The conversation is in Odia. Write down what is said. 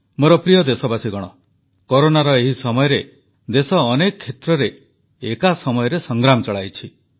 ମୋର ପ୍ରିୟ ଦେଶବାସୀଗଣ କରୋନାର ଏହି ସମୟରେ ଦେଶ ଅନେକ କ୍ଷେତ୍ରରେ ଏକା ସମୟରେ ସଂଗ୍ରାମ ଚଳାଇଛି